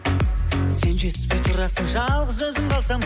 сен жетіспей тұрасың жалғыз өзім қалсам